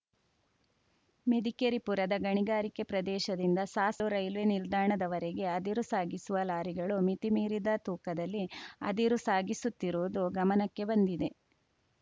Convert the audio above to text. ಮೆದಿಕೆರಿಪುರದ ಗಣಿಗಾರಿಕೆ ಪ್ರದೇಶದಿಂದ ಸಾಸು ರೇಲ್ವೆ ನಿಲ್ದಾಣದವರೆಗೆ ಅದಿರು ಸಾಗಿಸುವ ಲಾರಿಗಳು ಮಿತಿ ಮೀರಿದ ತೂಕದಲ್ಲಿ ಅದಿರು ಸಾಗಿಸುತ್ತಿರುವುದು ಗಮನಕ್ಕೆ ಬಂದಿದೆ